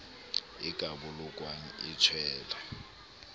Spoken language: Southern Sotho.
e ka bolokwang e tswella